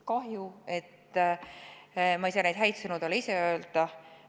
Kahju, et ma ei saa neid häid sõnu talle ise öelda.